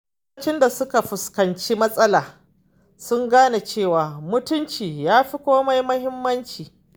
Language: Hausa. Lokacin da suka fuskanci matsala, sun gane cewa mutunci yafi komai muhimmanci.